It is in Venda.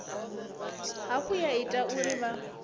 hafhu ya ita uri vha